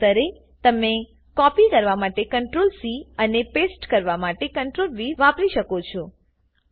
એકાંતરે તમે કોપી કરવા માટે CTRLC અને પેસ્ટ કરવા માટે CTRLV વાપરી શકો છો